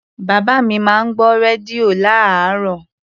Bàbá mi máa ń gbọ́ rédíò lárààárọ̀.